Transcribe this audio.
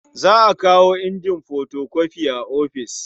Za a kawo injin fotokofi a ofis.